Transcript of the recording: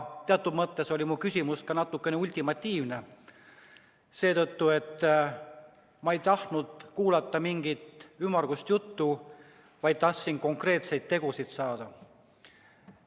Teatud mõttes oli mu küsimus natukene ultimatiivne, sest ma ei tahtnud kuulata mingit ümmargust juttu, vaid tahtsin konkreetseid tegusid teada saada.